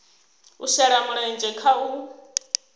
a shele mulenzhe kha u